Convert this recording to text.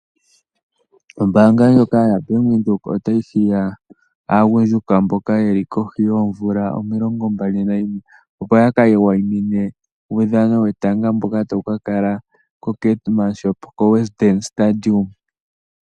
Ombaanga ndjoka yaBank Windhoek otayi hiya aagundjuka mboka yeli kohi yoomvula omilongo mbali nayimwe opo ya ka wayimine uudhano wetanga mboka tawu ka kala koKeetmanshoop, koWestdene Stadium.